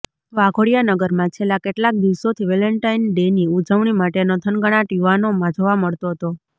વાઘોડિયા નગરમાં છેલ્લા કેટલાક દિવસોથી વેલેન્ટાઇન ડેની ઉજવણી માટેનો થનગનાટ યુવાનોમાં જોવા મળતો હતો